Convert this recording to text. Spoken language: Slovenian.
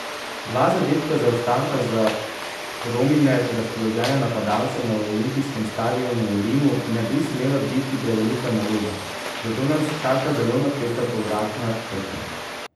Dva zadetka zaostanka za Romine razpoložene napadalce na olimpijskem stadionu v Rimu ne bi smela biti prevelika naloga, zato nas čaka zelo napeta povratna tekma.